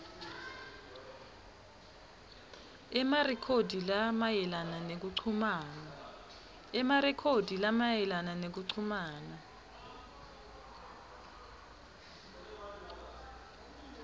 emarekhodi lamayelana nekuchumana